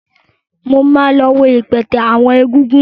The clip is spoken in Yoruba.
Mà á lọ wo ìpàtẹ àwọn egúngún.